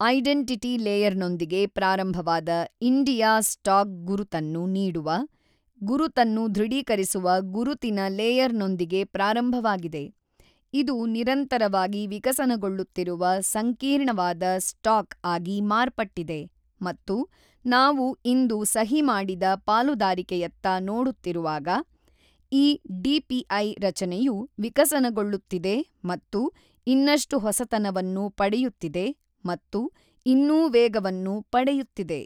Identity ಲೇಯರ್ನೊಂದಿಗೆ ಪ್ರಾರಂಭವಾದ India stack ಗುರುತನ್ನು ನೀಡುವ, ಗುರುತನ್ನು ದೃಢೀಕರಿಸುವ ಗುರುತಿನ ಲೇಯರ್ನೊಂದಿಗೆ ಪ್ರಾರಂಭವಾಗಿದೆ, ಇದು ನಿರಂತರವಾಗಿ ವಿಕಸನಗೊಳ್ಳುತ್ತಿರುವ ಸಂಕೀರ್ಣವಾದ ಸ್ಟಾಕ್ ಆಗಿ ಮಾರ್ಪಟ್ಟಿದೆ ಮತ್ತು ನಾವು ಇಂದು ಸಹಿ ಮಾಡಿದ ಪಾಲುದಾರಿಕೆಯತ್ತ ನೋಡುತ್ತಿರುವಾಗ, ಈ ಡಿಪಿಐ ರಚನೆಯು ವಿಕಸನಗೊಳ್ಳುತ್ತಿದೆ ಮತ್ತು ಇನ್ನಷ್ಟು ಹೊಸತನವನ್ನು ಪಡೆಯುತ್ತಿದೆ ಮತ್ತು ಇನ್ನೂ ವೇಗವನ್ನು ಪಡೆಯುತ್ತಿದೆ.